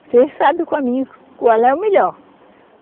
Você sabe o caminho, qual é o melhor.